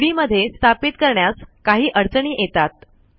C D मध्ये स्थापित करण्यास काही अडचणी येतात